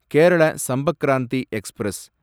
Kerala Sampark Kranti express